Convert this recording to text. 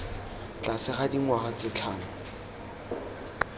tlase ga dingwaga tse tlhano